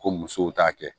Ko musow t'a kɛ